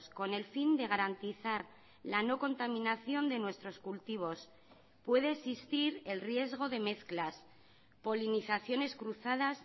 con el fin de garantizar la no contaminación de nuestros cultivos puede existir el riesgo de mezclas polinizaciones cruzadas